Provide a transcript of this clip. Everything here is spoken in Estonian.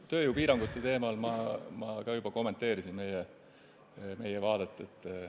Tööjõupiirangute teemal ma samuti juba kommenteerisin meie vaadet.